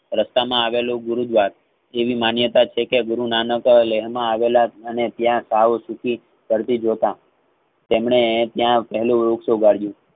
રસ્તામાં આવેલું ગુરુદવાર જેવી માન્યતાછેકે ગુરુનાનક લેનમાં આવેલ અને કાવો સુધી કરડી જોતા તેમણે ત્યાં પહેલું વૃક્ષ ઉગાડયું.